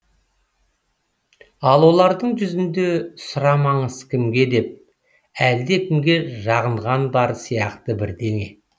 ал олардың жүзінде сұрамаңыз кімге деп әлдекімге жағынған бар сияқты бірдеңе